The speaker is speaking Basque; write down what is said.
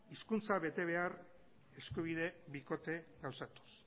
hizkuntza betebehar eskubide bikote gauzatuz